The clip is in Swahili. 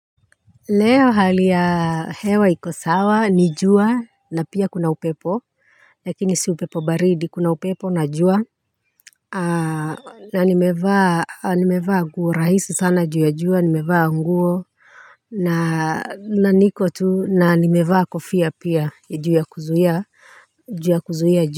Leo hali ya hewa iko sawa ni jua na pia kuna upepo lakini si upepo baridi kuna upepo na jua na nimevaa nguo rahisi sana juu ya jua nimevaa nguo na niko tu na nimevaa kofia pia juu ya kuzuhia jua.